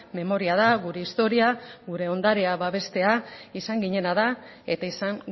memoria da gure historia gure ondarea babestea izan ginena da eta izan